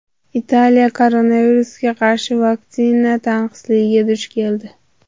Italiya koronavirusga qarshi vaksina tanqisligiga duch keldi.